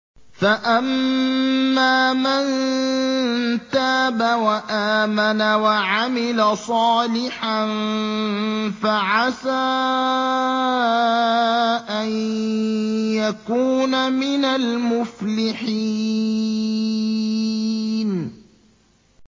فَأَمَّا مَن تَابَ وَآمَنَ وَعَمِلَ صَالِحًا فَعَسَىٰ أَن يَكُونَ مِنَ الْمُفْلِحِينَ